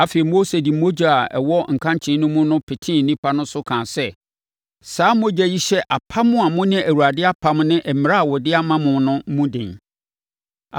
Afei, Mose de mogya a ɛwɔ nkankyee no mu no petee nnipa no so kaa sɛ, “Saa mogya yi hyɛ apam a mo ne Awurade apam ne mmara a ɔde ama mo no mu den.”